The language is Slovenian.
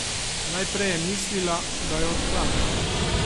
Najprej je mislila, da jo odklanja.